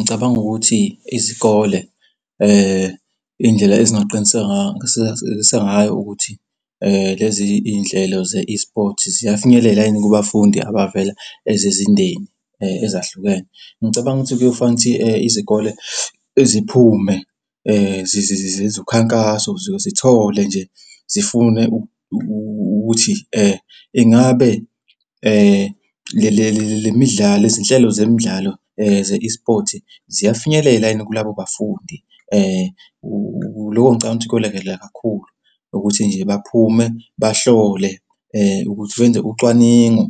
Ngicabanga ukuthi izikole indlela engaqiniseka, ukuthi lezi y'nhlelo ze-esport ziyafinyelela yini kubafundi abavela ezizindeni ezahlukene. Ngicabanga ukuthi kuyofanele ukuthi izikole ziphume ukhankaso, zithole nje, zifune ukuthi ingabe le midlalo, izinhlelo zemidlalo ze-esport ziyafinyelela yini kulabo bafundi. Loko ngicabanga kuyolekelela kakhulu ukuthi nje baphume bahlole ukuthi benze ucwaningo.